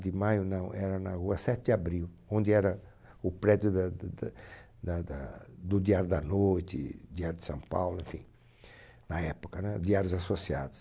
De maio, não, era na rua sete de abril, onde era o prédio da d da da da do Diário da Noite, Diário de São Paulo, enfim, na época, né? Diários Associados.